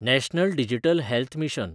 national digital health mission